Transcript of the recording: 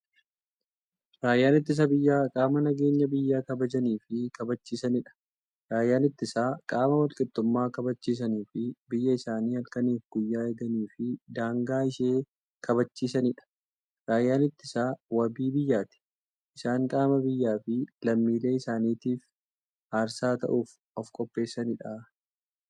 Raayyaan ittisa biyyaa qaama nageenya biyya kabajaniifi kabachiisaniidha. Raayyaan ittisaa qaama walqixxummaa kabachisaniifi biyyaa isaanii halkaniif guyyaa eeganiifi daangaa ishee kabachiisaniidha. Raayyaan ittisaa waabii biyyaati. Isaan qaama biyyaafi lammiilee isaanitiif aarsaa ta'uuf ofqopheessaniidha.